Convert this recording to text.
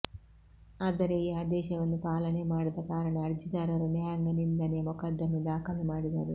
ಆದರೆ ಈ ಆದೇಶವನ್ನು ಪಾಲನೆ ಮಾಡದ ಕಾರಣ ಅರ್ಜಿದಾರರು ನ್ಯಾಯಾಂಗ ನಿಂದನೆ ಮೊಕದ್ದಮೆ ದಾಖಲು ಮಾಡಿದರು